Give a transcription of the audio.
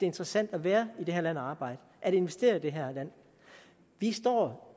interessant at være i det her land og arbejde og investere i det her land vi står